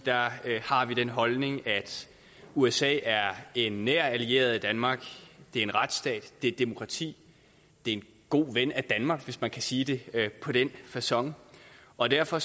har vi den holdning at usa er en nær allieret af danmark det er en retsstat det er et demokrati det er en god ven af danmark hvis man kan sige det på den facon og derfor